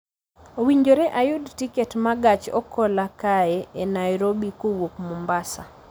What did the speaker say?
Owinjore ayud tiket ma gach okolokae e Nairobi kowuok Mombasa